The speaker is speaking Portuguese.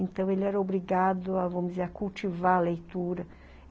Então, ele era obrigado, vamos dizer, a cultivar a leitura.